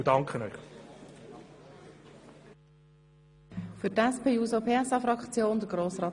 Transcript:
Der Titel der Motion ist gut, aber danach wird es immer weniger gut.